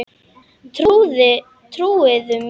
Trúði mér ekki.